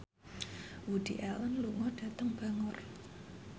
Woody Allen lunga dhateng Bangor